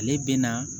Ale bɛ na